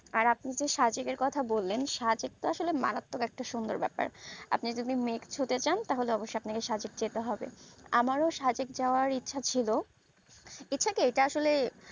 আর আপনি তো সাজিক এর কথা বললেন সাজিক আসলে মারাত্মক একটা সুন্দর ব্যাপার আপনি যদি মেঘ ছুতে চান তাহলেঅবসই আপনাকে সাজিক যেতে হবে আমারও সাজিক যাওয়ার ইচ্ছে ছিল ইচ্ছা কি এটা আসলে